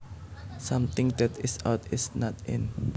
Something that is out is not in